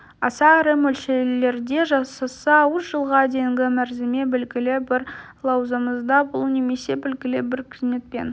аса ірі мөлшерде жасаса үш жылға дейінгі мерзімге белгілі бір лауазымда болу немесе белгілі бір қызметпен